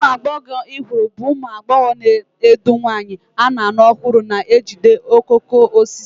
Ụmụ agbọghọ ifuru bụ ụmụ agbọghọ na-edu nwanyị a na-alụ ọhụrụ na-ejide okooko osisi.